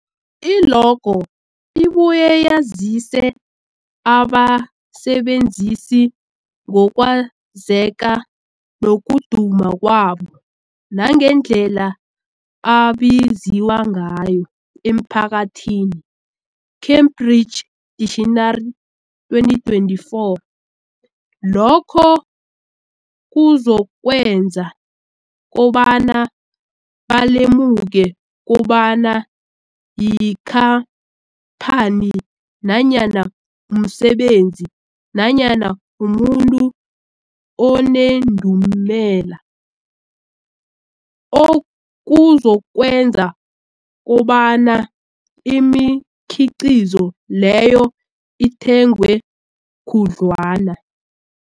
I-logo ibuye yazise abasebenzisi ngokwazeka nokuduma kwabo nangendlela abaziwa ngayo emphakathini, Cambridge Dictionary, 2024. Lokho kuzokwenza kobana balemuke kobana yikhamphani nanyana umsebenzi nanyana umuntu onendumela, okuzokwenza kobana imikhiqhizo leyo ithengwe khudlwana.